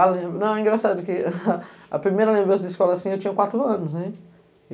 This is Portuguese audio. Ah, lembro... Não, é engraçado, porque a primeira lembrança da escola, assim, eu tinha quatro anos, né?